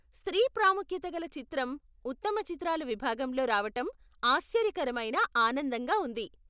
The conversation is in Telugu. స్త్రీ ప్రాముఖ్యత కల చిత్రం ఉత్తమ చిత్రాల విభాగంలో రావటం ఆశ్చర్యకరమైన ఆనందంగా ఉంది.